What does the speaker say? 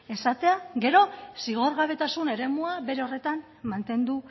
esatea gero zigorgabetasun eremua bere horretan mantendu